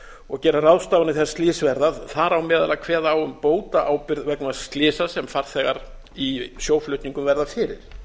og gera ráðstafanir þegar slys verða þar á meðal að kveða á um bótaábyrgð vegna slysa sem farþegar í sjóflutningum verða fyrir